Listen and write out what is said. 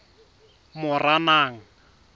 moranang